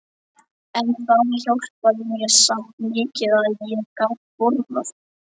En það hjálpaði mér samt mikið að ég gat borðað.